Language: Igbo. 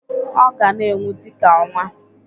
Ọ ga-na enwu dị ka ọnwa.